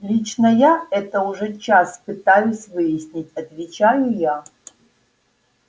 лично я это уже час пытаюсь выяснить отвечаю я